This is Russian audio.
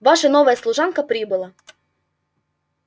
ваша новая служанка прибыла